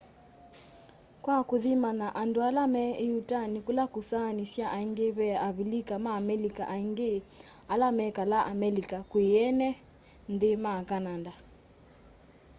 kwa kũthimanya andũ ala me ĩtuanĩ kula kũsaanĩasya aingi ve a avilika ma amelika aingi ala mekalaa amelika kwĩ ene nthĩ ma kananda